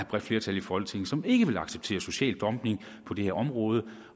bredt flertal i folketinget som ikke vil acceptere social dumping på det her område